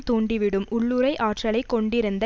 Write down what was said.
தூண்டிவிடும் உள்ளுறை ஆற்றலைக் கொண்டிருந்த